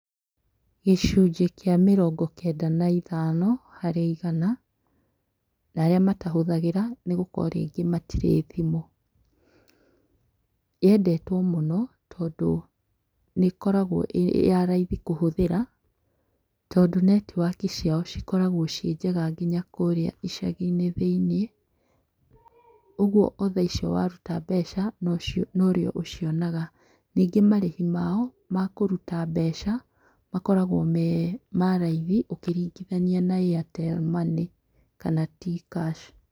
Gĩcunjĩ kĩa mĩrongo kenda na ithano harĩ igana ya arĩa matahũthagĩra nĩgũkorwo rĩngĩ matirĩ thimũ. Yendetwo mũno tondũ nĩĩkoragwo ĩyaraithi kũhũthĩra tondũ netiwoki cia cikoragwo ciĩnjega kũhũthĩra nginya kũrĩa icagi-inĩ thĩiniĩ. ũgwo o thaa icio waruta mbeca nocio norĩũ ũcionaga. Nyingĩ marĩhi mao makũruta mbeca makoragwo me maraithi ũkĩringithania na Airtel Money kana T-kash.